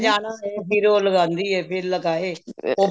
ਜਾਣਾ ਹੋਏ ਮੰਮੀ ਰੋਜ ਲਗਾਦੀ ਏ ਵੀ ਲਗਾਏ ਉਹ